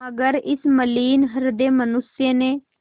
मगर इस मलिन हृदय मनुष्य ने